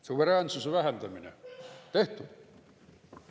Suveräänsuse vähendamine – tehtud.